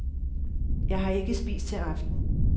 Jeg har ikke spist til aften.